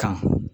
Kan